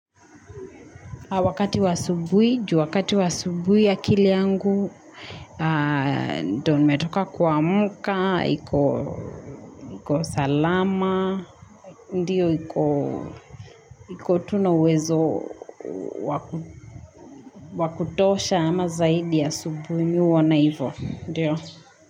Wakati wa asubuhi, wakati wa asubuhi akili yangu, ndio nimetoka kuamka, iko salama, ndiyo iko tu na uwezo wa kutosha ama zaidi ya asubuhi mimi huona hivyo.